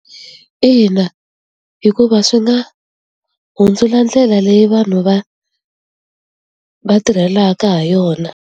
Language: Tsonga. Ina hikuva swi nga hundzula ndlela leyi vanhu va va tirhelaka ha yona.